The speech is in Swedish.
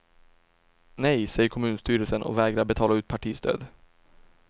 Nej, säger kommunstyrelsen och vägrar att betala ut partistöd.